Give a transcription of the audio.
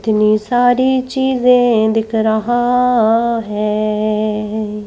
इतनी सारी चीजें दिख रहा है।